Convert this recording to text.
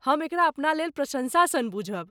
हम एकरा अपनालेल प्रशंसा सन बूझब।